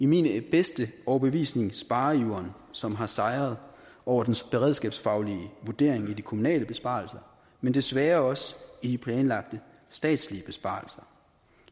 min bedste overbevisning spareiveren som har sejret over den beredskabsfaglige vurdering i de kommunale besparelser men desværre også i planlagte statslige besparelser